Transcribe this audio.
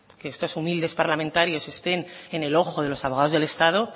que estos humildes parlamentarios estén en el ojo de los abogados del estado